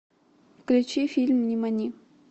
включи фильм нимани